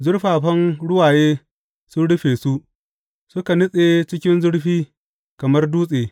Zurfafan ruwaye sun rufe su; suka nutse cikin zurfi kamar dutse.